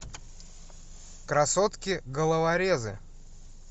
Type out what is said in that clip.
красотки головорезы